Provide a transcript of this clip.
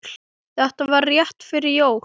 Þetta var rétt fyrir jól.